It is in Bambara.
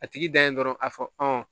A tigi dan ye dɔrɔn a fɔ